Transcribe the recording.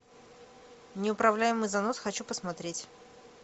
неуправляемый занос хочу посмотреть